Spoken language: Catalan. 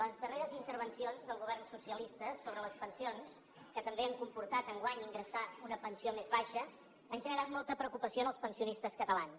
les darreres intervencions del govern socialista sobre les pensions que també han comportat enguany ingressar una pensió més baixa han generat molta preocupació als pensionistes catalans